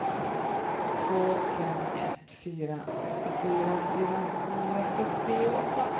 två fem ett fyra sextiofyra fyrahundrasjuttioåtta